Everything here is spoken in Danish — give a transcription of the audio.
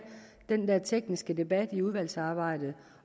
den der tekniske debat under udvalgsarbejdet